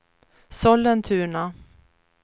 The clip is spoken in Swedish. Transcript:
Sollentuna